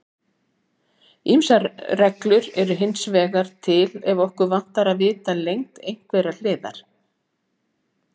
Ýmsar reglur eru hins vegar til ef okkur vantar að vita lengd einhverrar hliðar.